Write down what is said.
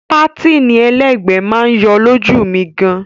Pátìnì ẹlẹ́gbẹ̀ẹ́ máa yọ lójú mi gan.